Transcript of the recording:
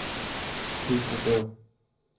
Petra Berg